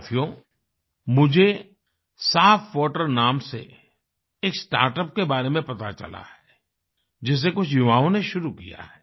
साथियो मुझे साफवाटर साफवाटर नाम से एक स्टार्टअप के बारे में पता चला है जिसे कुछ युवाओं ने शुरु किया है